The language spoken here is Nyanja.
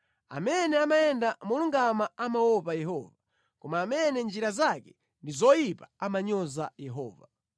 Amene amayenda molungama amaopa Yehova, koma amene njira zake ndi zoyipa amanyoza Yehova.